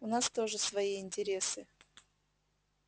у нас тоже свои интересы